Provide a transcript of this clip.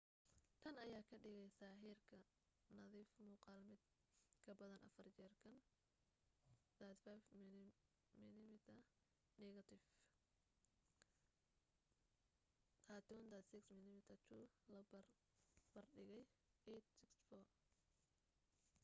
tan ayaa ka dhigeysa heerka nadiif muuqaal mid kabadan afar jeer kan 35mm negatif 3136 mm2 la bar bardhigay 864